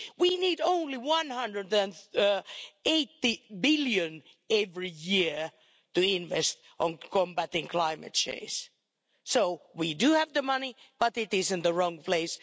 We need only EUR 180 billion every year to invest in combating climate change. So, we do have the money, but it is in the wrong place.